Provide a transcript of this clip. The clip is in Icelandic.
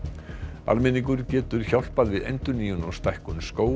almenningur getur hjálpað við endurnýjun og stækkun skóga